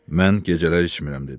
Mən gecələr içmirəm dedi.